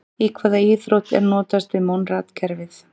Í hvaða íþrótt er notast við Monrad-kerfið?